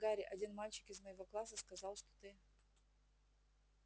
гарри один мальчик из моего класса сказал что ты